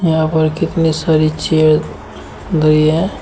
यहां पर कितनी सारी चेयर धरी है।